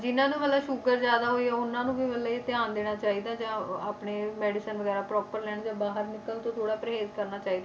ਜਿਹਨਾਂ ਨੂੰ ਮਤਲਬ ਸ਼ੂਗਰ ਜ਼ਿਆਦਾ ਹੋਈ ਆ ਉਹਨਾਂ ਨੂੰ ਵੀ ਮਤਲਬ ਇਹ ਧਿਆਨ ਦੇਣਾ ਚਾਹੀਦਾ ਜਾਂ ਆਪਣੇ medicine ਵਗ਼ੈਰਾ proper ਲੈਣ ਜਾਂ ਬਾਹਰ ਨਿਕਲਣ ਤੋਂ ਥੋੜ੍ਹਾ ਪਰਹੇਜ ਕਰਨਾ ਚਾਹੀਦਾ।